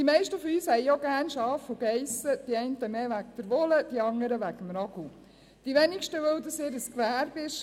Die meisten von uns haben auch Schafe und Ziegen gerne, die einen mehr wegen der Wolle, die anderen eher wegen des Ragouts, die wenigsten, weil es ihr Gewerbe ist.